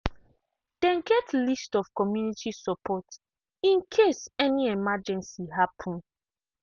dem get list of community support in case any emergency happen.